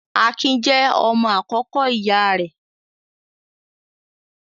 Akin jẹ́ ọmọ àkọ́kọ́ ìyá rẹ̀.